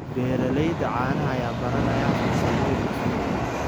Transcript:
Beeralayda caanaha ayaa baranaya farsamooyin cusub.